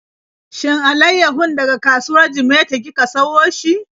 Shin alaiyahun daga kasuwar Jimeta kika siyo shi?